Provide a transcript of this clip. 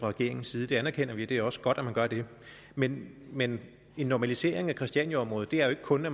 regeringens side det anerkender vi og det er også godt at man gør det men men en normalisering af christianiaområdet er jo ikke kun at